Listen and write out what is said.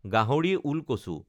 গাহৰি ওলকচু